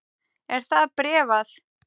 Er það bréfað?